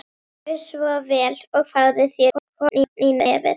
Gjörðu svo vel og fáðu þér korn í nefið.